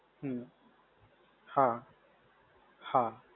હમ. હા, હા.